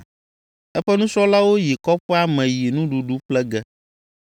(Eƒe nusrɔ̃lawo yi kɔƒea me yi nuɖuɖu ƒle ge.)